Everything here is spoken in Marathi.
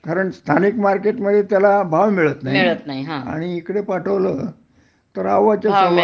कारण स्थानिक मार्केटमधे त्याला भाव मिळत नाही आणि इकडे पाठवलं तर अवाच्या सव्वा